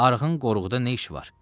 Arığın qoruğuda nə işi var?